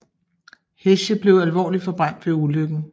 Heche blev alvorligt forbrændt ved ulykken